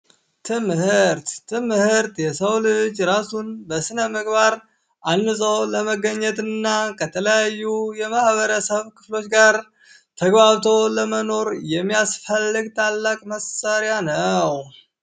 ትምህርት ትምህርት የሰው ልጅ ራሱን በስነምግባር አንፆ ለመገኘት እና እና ከተለያዩ የማህበረሰብ ክፍሎች ጋር ተግባብቶ ለመኖር የሚያስፈልግል ታላቅ መሳሪያ ነው።